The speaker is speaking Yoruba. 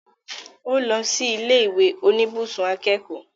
Ó lọ sí ilé ìwé oníbùsùn akẹ́kọ̀ọ́